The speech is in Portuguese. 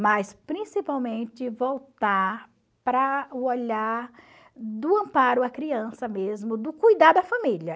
Mas, principalmente, voltar para o olhar do amparo à criança mesmo, do cuidado a família.